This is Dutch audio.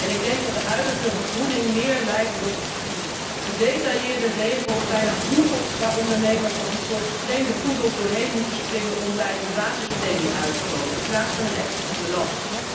Ik denk dat de huidige vergroening meer lijkt op gedetailleerde regels bijna hoepels waar ondernemers als een soort getrainde poedels doorheen moeten springen om bij hun basispremie uit te komen dan op een echte stimulans.